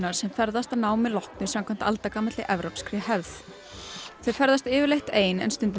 sem ferðast að námi loknu samkvæmt aldagamalli evrópskri hefð þau ferðast yfirleitt ein en stundum